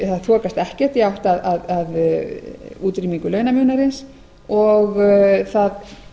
það þokast ekkert í átt að útrýmingu launamunarins og það